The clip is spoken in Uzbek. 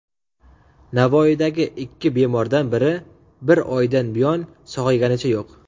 Navoiydagi ikki bemordan biri bir oydan buyon sog‘ayganicha yo‘q.